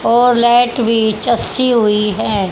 और भी हुई है।